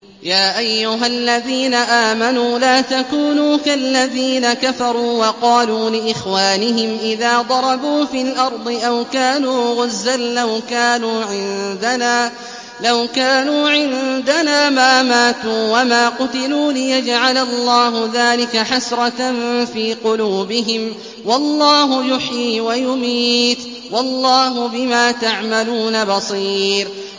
يَا أَيُّهَا الَّذِينَ آمَنُوا لَا تَكُونُوا كَالَّذِينَ كَفَرُوا وَقَالُوا لِإِخْوَانِهِمْ إِذَا ضَرَبُوا فِي الْأَرْضِ أَوْ كَانُوا غُزًّى لَّوْ كَانُوا عِندَنَا مَا مَاتُوا وَمَا قُتِلُوا لِيَجْعَلَ اللَّهُ ذَٰلِكَ حَسْرَةً فِي قُلُوبِهِمْ ۗ وَاللَّهُ يُحْيِي وَيُمِيتُ ۗ وَاللَّهُ بِمَا تَعْمَلُونَ بَصِيرٌ